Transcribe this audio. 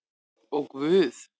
Ó guð!